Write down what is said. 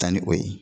Taa ni o ye